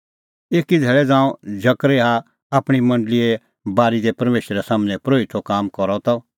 एकी धैल़ै ज़ांऊं जकरयाह आपणीं मंडल़ीए बारी दी परमेशरे सम्हनै परोहितो काम करा त